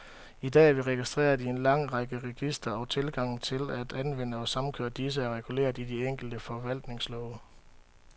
I dag er vi registreret i en lang række registre, og tilgangen til at anvende og samkøre disse, er reguleret i de enkelte forvaltningslove.